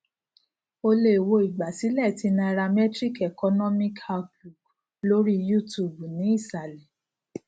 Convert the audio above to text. o lè wo ìgbàsílẹ ti nairametrics economic outlook lori youtube ni isàlẹ